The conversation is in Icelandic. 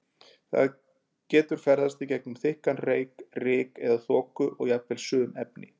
Það getur ferðast í gegnum þykkan reyk, ryk eða þoku og jafnvel sum efni.